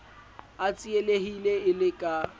a tsielehile e le ka